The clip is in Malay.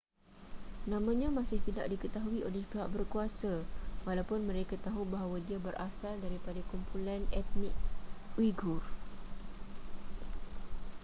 namanya masih tidak diketahui oleh pihak berkuasa walaupun mereka tahu bahawa dia berasal daripada kumpulan etnik uighur